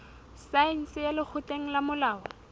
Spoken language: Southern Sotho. saense ya lekgotleng la molao